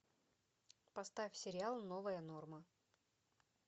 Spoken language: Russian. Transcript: поставь сериал новая норма